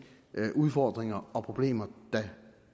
udfordringer og problemer der